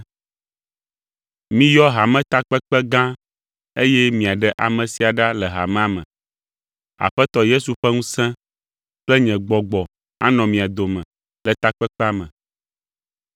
Miyɔ Hametakpekpe gã eye miaɖe ame sia ɖa le hamea me. Aƒetɔ Yesu ƒe ŋusẽ kple nye gbɔgbɔ anɔ mia dome le takpekpea me.